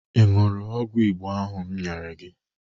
Ị ṅụrụ ọgwụ Igbo ahụ m nyere gị?